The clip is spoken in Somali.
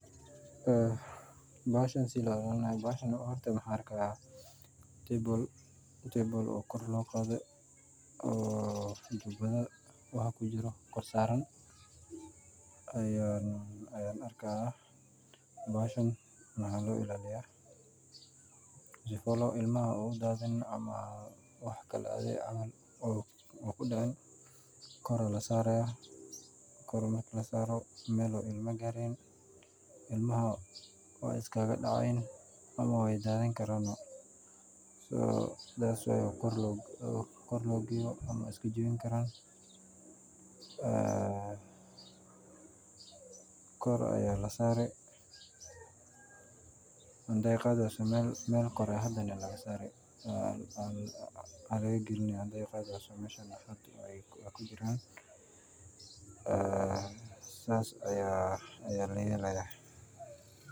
Bahashan sida loo ila linayo waxan argah, table table oo gor loqada, oo jubada wax kujiroh gorsan, ayan argahay bahashan waxa loo ila liyah sifo ilmaha ay udadini waxkle camal ku dicin, goor aya la saryah, gor marka lasaroh mal oo ilmo garaynin, ilmaha way iskaga dacayin ama waydadini karan, so saas waya gor loo gayoh ama way iska jawini karan, aa gor aya lasari, hadii qadiwasoh mal gori hadani la mal gori laga galini so masha aya ku jiran, saas aya la yalahay.